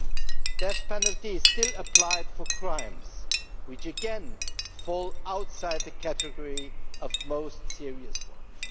The death penalty is still applied for crimes which again fall outside the category of most serious ones.